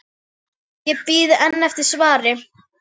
Ég bíð enn eftir svari.